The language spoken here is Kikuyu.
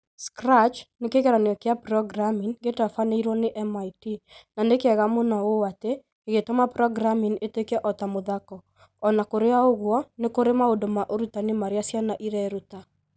Scratch, nĩ kĩgeranio kĩa programming gĩtabanĩirio nĩ MIT, na nĩ kĩega mũno ũũ atĩ gĩgĩtũma programming ĩtuĩke o ta muthako O na kũrĩ ũguo, nĩ kũrĩ maũndũ ma ũrutani marĩa ciana ireruta.